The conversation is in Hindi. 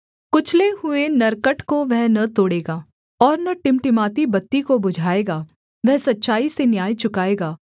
कुचले हुए नरकट को वह न तोड़ेगा और न टिमटिमाती बत्ती को बुझाएगा वह सच्चाई से न्याय चुकाएगा